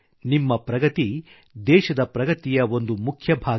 ನಿಮ್ಮ ಪ್ರಗತಿ ದೇಶದ ಪ್ರಗತಿಯ ಒಂದು ಮುಖ್ಯ ಭಾಗ